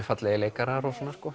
fallegir leikarar